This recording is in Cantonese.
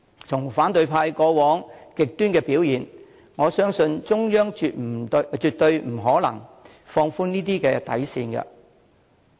從反對派過往極端的表現，我相信中央絕不可能放寬這些底線。